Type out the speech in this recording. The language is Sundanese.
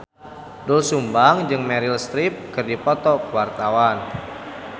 Doel Sumbang jeung Meryl Streep keur dipoto ku wartawan